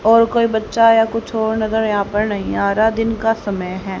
और कोई बच्चा या कुछ और नजर यहां पर नहीं आ रहा दिन का समय है।